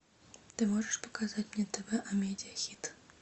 ты можешь показать мне тв амедиа хит